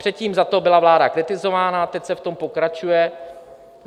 Předtím za to byla vláda kritizována a teď se v tom pokračuje.